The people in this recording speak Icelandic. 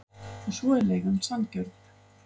Og svo er leigan sanngjörn.